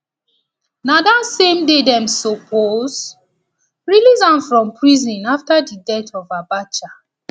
na dat same day dem suppose release am from prison afta di death of abacha